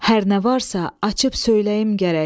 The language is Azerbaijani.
Hər nə varsa, açıb söyləyim gərək.